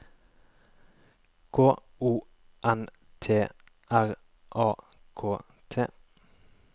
K O N T R A K T